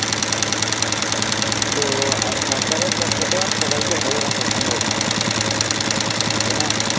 তো আর সরকারের পক্ষে তো আর সবাইকে ভালো রাখা সম্ভব না তাই না